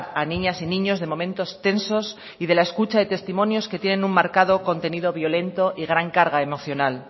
a niñas y niños de momentos tensos y de la escucha de testimonios que tienen un marcado contenido violento y gran carga emocional